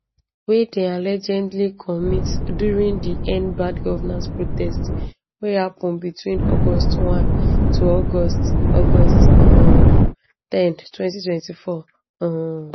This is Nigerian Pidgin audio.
wey dem allegedly commit during di end bad governance protest wey happen between august 1 to august august um ten 2024 um